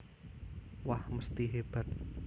Wah mesthi hebat